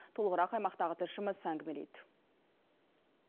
толығырақ аймақтағы тілшіміз әңгімелейді